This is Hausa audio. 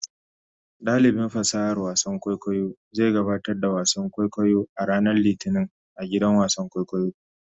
Dalibin fasahar wasan kwaikwayo zai gabatar da wasan kwaikwayo a ranar Litinin a gidan wasan kwaikwayo.